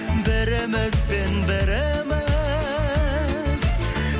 бірімізбен біріміз